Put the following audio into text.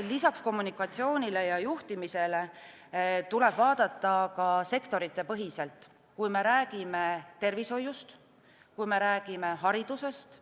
Lisaks kommunikatsioonile ja juhtimisele tuleb vaadata ka sektorite põhiselt, kui me räägime tervishoiust, haridusest,